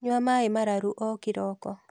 Nyua maĩĩ mararu o kĩroko